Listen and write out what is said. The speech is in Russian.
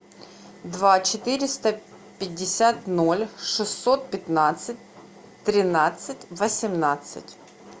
два четыреста пятьдесят ноль шестьсот пятнадцать тринадцать восемнадцать